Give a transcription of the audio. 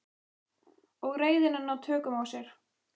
Og reiðina ná tökum á sér.